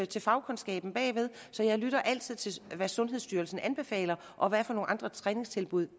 til fagkundskaben bagved så jeg lytter altid til hvad sundhedsstyrelsen anbefaler og hvad for nogle andre træningstilbud